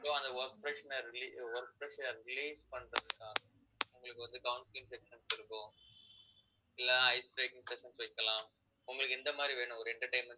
so அந்த work pressure, work pressure release பண்றதுக்காக உங்களுக்கு வந்து counselling sessions இருக்கும் இல்லை ice breaking sessions வைக்கலாம் உங்களுக்கு எந்த மாதிரி வேணும் ஒரு entertainment